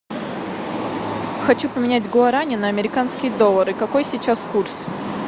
хочу поменять гуарани на американские доллары какой сейчас курс